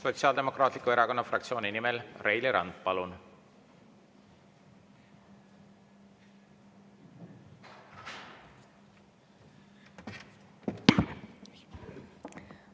Sotsiaaldemokraatliku Erakonna fraktsiooni nimel Reili Rand, palun!